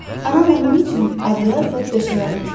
Anam onun üçün adyal və döşəyağı tikib.